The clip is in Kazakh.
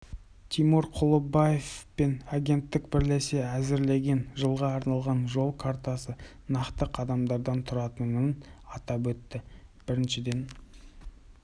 тимур құлыбаев мен агенттік бірлесе әзірлеген жылға арналған жол картасы нақты қадамдардан тұратынын атап өтті біріншіден